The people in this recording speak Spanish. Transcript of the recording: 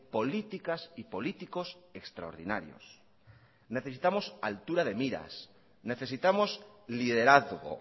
políticas y políticos extraordinarios necesitamos altura de miras necesitamos liderazgo